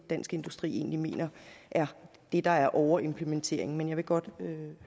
dansk industri mener er det der er overimplementeringen men jeg vil godt